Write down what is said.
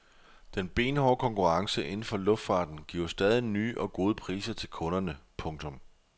Den benhårde konkurrence inden for luftfarten giver stadig nye og gode priser til kunderne. punktum